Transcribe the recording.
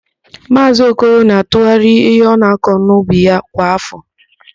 Maazị Okoro na-atụgharị ihe ọ na-akọ n'ubi ya kwa áfọ.